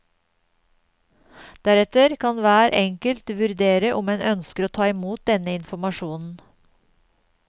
Deretter kan hver enkelt vurdere om en ønsker å ta imot denne informasjonen.